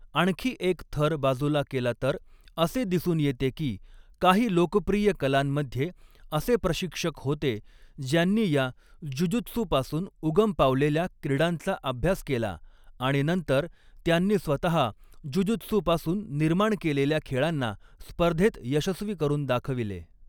आणखी एक थर बाजुला केला तर असे दिसून येते की काही लोकप्रिय कलांमध्ये असे प्रशिक्षक होते ज्यांनी या 'जुजुत्सू'पासून उगम पावलेल्या क्रीडांचा अभ्यास केला आणि नंतर त्यांनी स्वतः 'जुजुत्सू'पासून निर्माण केलेल्या खेळांना स्पर्धेत यशस्वी करून दाखविले.